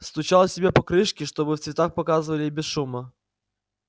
стучал себе по крышке чтобы в цветах показывали и без шума